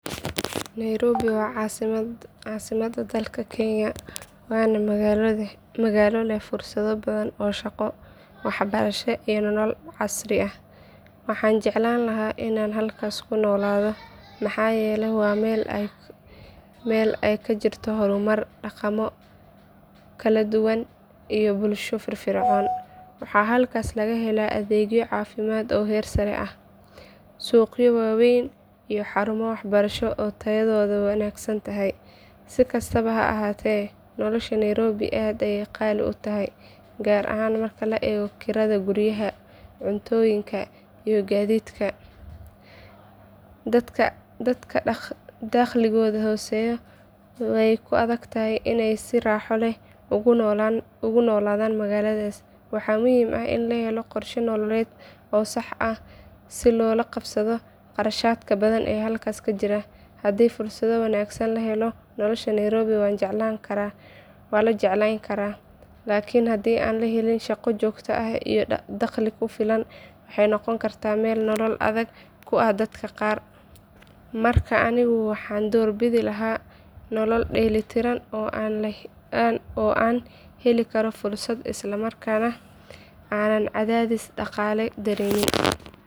Nairobi waa caasimadda dalka Kenya waana magaalo leh fursado badan oo shaqo, waxbarasho iyo nolol casri ah. Waxaan jeclaan lahaa inaan halkaas ku noolaado maxaa yeelay waa meel ay ka jirto horumar, dhaqamo kala duwan iyo bulsho firfircoon. Waxaa halkaas laga helaa adeegyo caafimaad oo heer sare ah, suuqyo waaweyn, iyo xarumo waxbarasho oo tayadoodu wanaagsan tahay. Si kastaba ha ahaatee, nolosha Nairobi aad ayey qaali u tahay gaar ahaan marka la eego kirada guryaha, cuntooyinka iyo gaadiidka. Dadka dakhligoodu hooseeyo way ku adag tahay inay si raaxo leh uga noolaadaan magaaladaas. Waxaa muhiim ah in la helo qorshe nololeed oo sax ah si loola qabsado kharashaadka badan ee halkaas ka jira. Haddii fursado wanaagsan la helo, nolosha Nairobi waa la jecleyn karaa, laakiin haddii aan la helin shaqo joogto ah iyo dakhli ku filan waxay noqon kartaa meel nolol adag ku ah dadka qaar. Marka anigu waxaan doorbidi lahaa nolol dheellitiran oo aan heli karo fursado isla markaana aanan cadaadis dhaqaale dareemin.